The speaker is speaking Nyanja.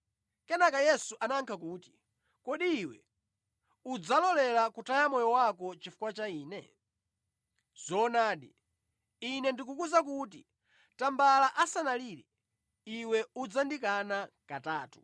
Kenaka Yesu anayankha kuti, “Kodi iwe udzalolera kutaya moyo chifukwa cha Ine? Zoonadi, Ine ndikukuwuza kuti tambala asanalire, iwe udzandikana katatu!”